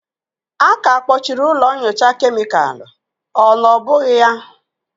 A ka akpọchiri ụlọ nyocha kemịkalụ, ọ na ọ bụghị ya?